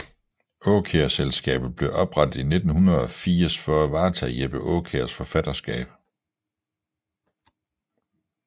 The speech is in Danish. Aakjærselskabet blev oprettet i 1980 for at varetage Jeppe Aakjærs forfatterskab